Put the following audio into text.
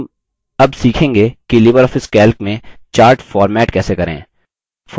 हम अब सीखेंगे कि libreoffice calc में charts format कैसे करें